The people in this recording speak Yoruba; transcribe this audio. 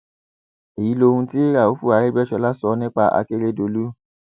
èyí lohun tí raufu arẹgbẹsọlá sọ nípa akérèdọlù